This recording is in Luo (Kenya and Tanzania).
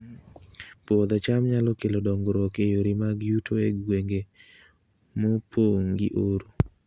Puodho cham nyalo kelo dongruok e yore mag yuto e gwenge mopong' gi oro